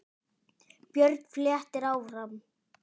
Björn flettir áfram.